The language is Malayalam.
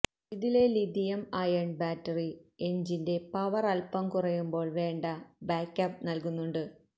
ഇതിലെ ലിത്തിയം അയൺ ബാറ്ററി എഞ്ചിന്റെ പവർ അല്പം കുറയുമ്പോൾ വേണ്ട ബായ്ക്കപ്പ് നൽകുന്നുണ്ട്